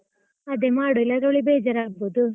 ಅದೆ ಮಾಡುವ, ಇಲ್ಲದ್ರೆ ಅವಳಿಗೆ ಬೇಜಾರ್ ಆಗ್ಬಹುದು.